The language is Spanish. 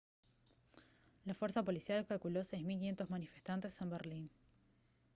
la fuerza policial calculó 6500 manifestantes en berlín